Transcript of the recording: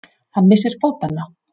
Hann missir fótanna.